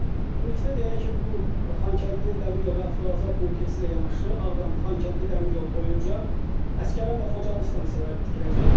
Və ümumilikdə deyək ki, bu Xankəndi dəmir yolu və avtovağzal kompleksi ilə yanaşı Ağdam-Xankəndi dəmir yolu boyunca Əsgəran və Xocalı stansiyaları tikiləcək.